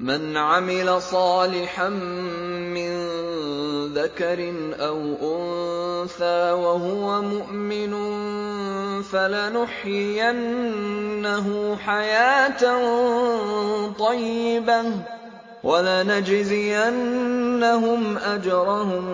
مَنْ عَمِلَ صَالِحًا مِّن ذَكَرٍ أَوْ أُنثَىٰ وَهُوَ مُؤْمِنٌ فَلَنُحْيِيَنَّهُ حَيَاةً طَيِّبَةً ۖ وَلَنَجْزِيَنَّهُمْ أَجْرَهُم